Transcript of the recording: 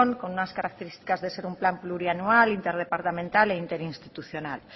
con unas características de ser un plan plurianual interdepartamental e interinstitucional